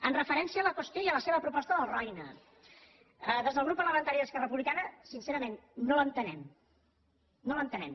amb referència a la qüestió i a la seva proposta del roine des del grup parlamentari d’esquerra republicana sincerament no l’entenem no l’entenem